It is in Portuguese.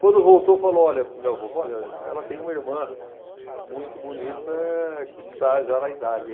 Quando voltou, falou, olha, para o meu avô, falou olha, ela tem uma irmã muito bonita que está já na idade aí.